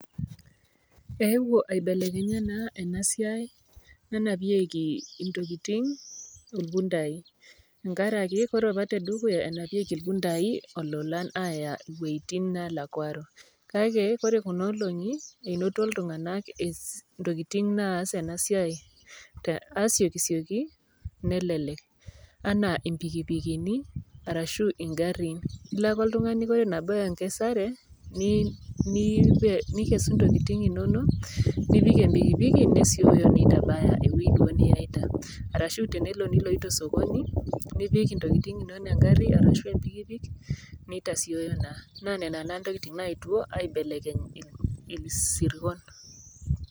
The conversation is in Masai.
Eewuo aibelekenya naa ena siai nanapieki intokitin irpundai tenkaraki ore te dukuya enapieki irpundai ololan aaya iwoitin naalakuaro. Kake kore kuna olong'i, enoto iltung'anak ees ntokitin naas ena siai te asiokisioki nelelek enaa impikipikini arashu ing'arin. Ilo ake oltung'ani ore enabau enkesare nii ni nikesu ntokitin ino nok nipik empikipiki nesioyo neitabaya ewoi duo niyaita arashu tenelo niloito sokoni, nipik ntokitin inonok eng'ari arashu empikipik nitasioyo naa. Naa nena naa ntokitin nayetuo aibelekeny isirkon.